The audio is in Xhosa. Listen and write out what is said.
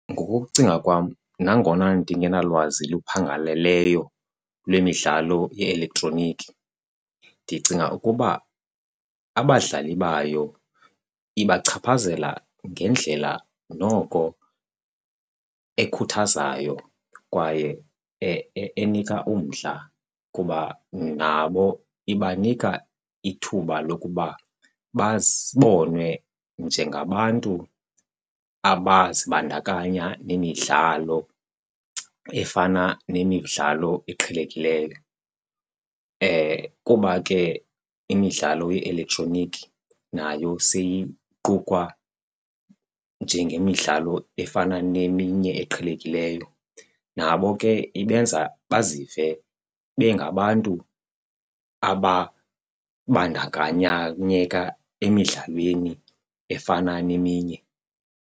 Ngokokucinga kwam nangona ndingenalwazi luphangaleleyo lwemidlalo ye-elektroniki ndicinga ukuba abadlali bayo ibachaphazela ngendlela noko ekhuthazayo kwaye enika umdla kuba nabo ibanika ithuba lokuba babonwe njengabantu abazibandakanya nemidlalo efana nemidlalo eqhelekileyo. Kuba ke imidlalo ye-elektroniki nayo seyiqukwa njengemidlalo efana neminye eqhelekileyo, nabo ke ibenza bazive bengabantu ababandakanyeka emidlalweni efana neminye.